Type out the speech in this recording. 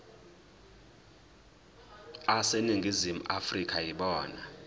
aseningizimu afrika yibona